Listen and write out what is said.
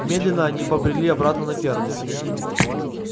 медленно они побрели обратно на ферму